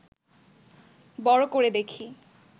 বড় করে দেখি